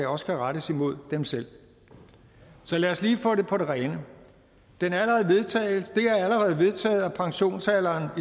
også kan rettes imod dem selv så lad os lige få det på det rene det er allerede vedtaget at pensionsalderen